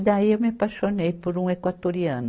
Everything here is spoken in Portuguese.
E daí, eu me apaixonei por um equatoriano.